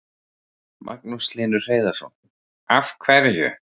Magnús Hlynur Hreiðarsson: Af hverju?